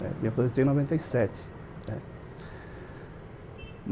Me aposentei em noventa e sete, né.